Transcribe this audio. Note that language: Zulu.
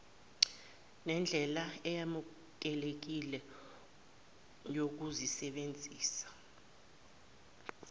nendlela eyamukelekile yokusebenzisa